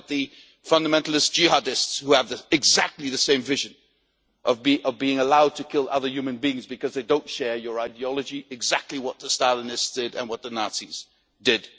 Look at the fundamentalist jihadists who have exactly the same vision of being allowed to kill other human beings because they do not share your ideology exactly what the Stalinists and the Nazis did.